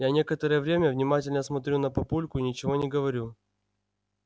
я некоторое время внимательно смотрю на папульку и ничего не говорю